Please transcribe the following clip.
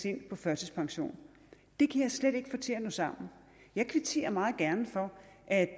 ind på førtidspension det kan jeg slet ikke få til at nå sammen jeg kvitterer meget gerne for at